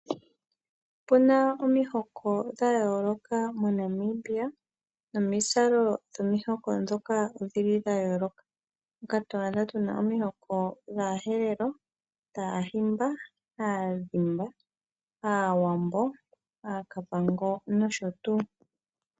Opuna omihoko dha yooloka moNamibia nomizalo dhomihoko ndhoka odhili dha yooloka two adha tuna omihoko dhaaherero, dhaahimba, aadhimba, aawambo, aakavango nosho tuu.